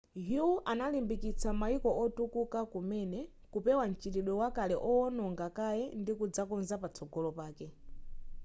hu analimbikitsa mayiko otukuka kumene kupewa m'chitidwe wakale owononga kaye ndikudzakonza patsogolo pake